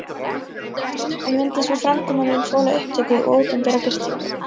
En myndi sú framkoma mín þola upptöku og opinbera birtingu?